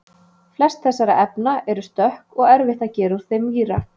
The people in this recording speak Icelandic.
Flest þessara efna eru stökk og erfitt að gera úr þeim víra.